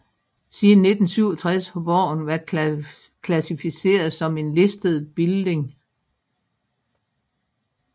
Siden 1967 har borgen været klassificeret som en listed building